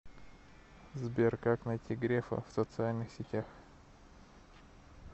сбер как найти грефа в социальных сетях